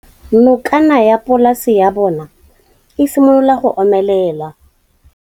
Nokana ya polase ya bona, e simolola go omelela.